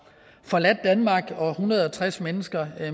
forladt danmark hvorfor en hundrede og tres mennesker